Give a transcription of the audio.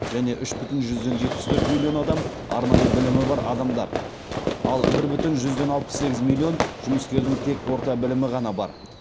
және үш бүтін жүзден жетпіс төрт миллион адам арнайы білімі бар адамдар ал бір бүтін жүзден алпыс сегіз миллион жұмыскердің тек орта білімі ғана бар